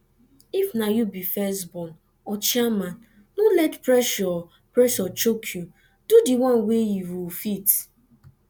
if na you be first born or chairman no let pressure pressure choke you do di one wey you fit